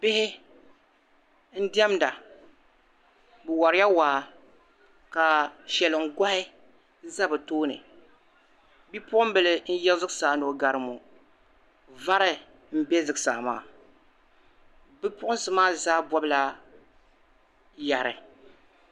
Bihi ndiɛmda, bi wari ya waa ka shɛliŋ-gɔhi za bi tooni. Bipuɣinbili n-yi zuɣu saa no'gari ŋɔ. Vari m-be zuɣusaa maa. Bipuɣinsi maa zaa bɔbila yeri.